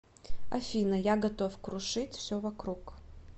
афина я готов крушить все вокруг